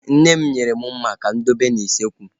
Nne m nyere mụ mma ka mụ dobe n'usekwu